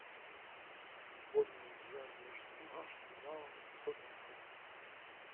футбольная игра между арсеналом и тоттенхэмом